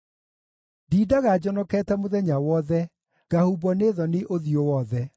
Ndindaga njonokete mũthenya wothe, ngahumbwo nĩ thoni ũthiũ wothe,